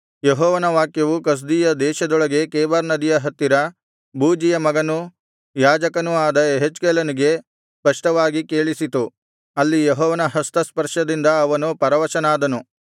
ಯೆಹೋವನ ವಾಕ್ಯವು ಕಸ್ದೀಯ ದೇಶದೊಳಗೆ ಕೆಬಾರ್ ನದಿಯ ಹತ್ತಿರ ಬೂಜಿಯ ಮಗನೂ ಯಾಜಕನೂ ಆದ ಯೆಹೆಜ್ಕೇಲನಿಗೆ ಸ್ಪಷ್ಟವಾಗಿ ಕೇಳಿಸಿತು ಅಲ್ಲಿ ಯೆಹೋವನ ಹಸ್ತಸ್ಪರ್ಶದಿಂದ ಅವನು ಪರವಶನಾದನು